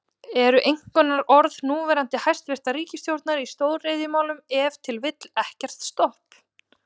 Eru einkunnarorð núverandi hæstvirtrar ríkisstjórnar í stóriðjumálum ef til vill, ekkert stopp?